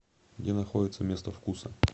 где находится место вкуса